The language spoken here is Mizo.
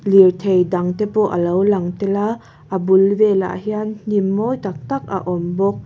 lirthei dang te pawh a lo lang tel a a bul velah hian hnim mawi tak tak a awm bawk.